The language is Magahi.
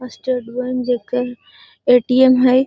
स्टेट बैंक जेकर ए.टी.एम. हई |